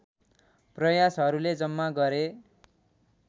प्रयासहरूले जम्मा गरे